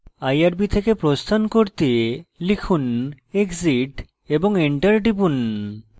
irb থেকে প্রস্থান করতে লিখুন exit এবং enter টিপুন